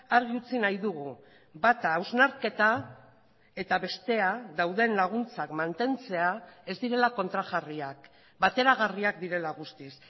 argi utzi nahi dugu bata hausnarketa eta bestea dauden laguntzak mantentzea ez direla kontrajarriak bateragarriak direla guztiz